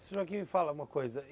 O senhor aqui me fala uma coisa.